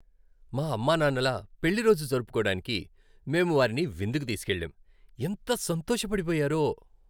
మా అమ్మానాన్నల పెళ్లిరోజు జరుపుకోడానికి మేము వారిని విందుకి తీసుకెళ్ళాం. ఎంత సంతోషపడిపోయారో!